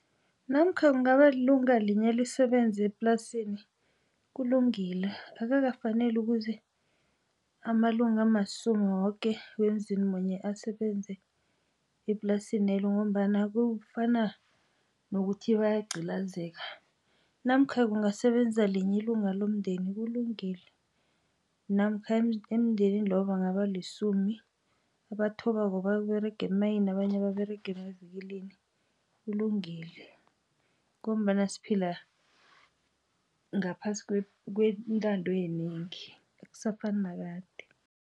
Namkha kungaba lilunga linye lisebenze eplasini kulungile. Akukafaneli ukuze amalunga amasumi woke wemzini munye asebenze eplasinelo ngombana kufana nokuthi bayagcilazeka. Namkha kungasebenza linye ilunga lomndeni kulungile. Namkha emndenini loyo bangabalisumi abathobako baberega emayinini, abanye baberega emavikilini kulungile ngombana siphila ngaphasi kwentando yenengi, akusafani nakade.